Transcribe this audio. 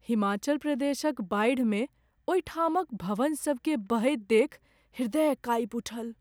हिमाचल प्रदेशक बाढ़िमे ओहिठामक भवनसभकेँ बहैत देखि हृदय काँपि उठल।